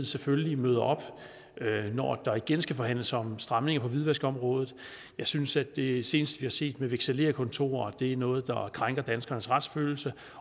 selvfølgelig møder op når der igen skal forhandles om stramninger på hvidvaskområdet jeg synes at det seneste set med vekselererkontorer er noget der krænker danskernes retsfølelse